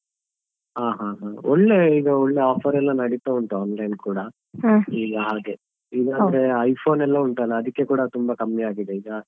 ಹಾ ಹಾ ಹಾ ಒಳ್ಳೆ ಈಗ ಒಳ್ಳೆ offer ಎಲ್ಲ ನಡೀತಾ ಉಂಟು online ಕೂಡ ಈಗ ಹಾಗೆ ಈಗ iPhone ಎಲ್ಲಾ ಉಂಟಲ್ಲ ಅದಕ್ಕೆ ಕೂಡ ತುಂಬಾ ಕಮ್ಮಿ ಆಗಿದೆ ಈಗ.